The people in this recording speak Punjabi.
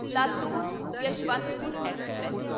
ਲਾਤੂਰ ਯਸ਼ਵੰਤਪੁਰ ਐਕਸਪ੍ਰੈਸ